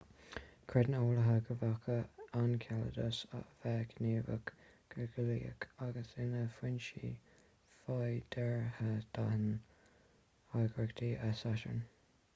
creideann eolaithe go bhféadfadh enceladus a bheith gníomhach go geolaíoch agus ina fhoinse féideartha d'fháinne oighreata e satarn